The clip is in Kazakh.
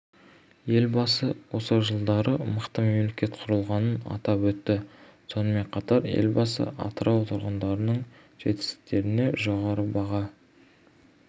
елбасы осы жылдары мықты мемлекет құрылғанын атап өтті сонымен қатар елбасы атырау тұрғындарының жетістіктеріне жоғары баға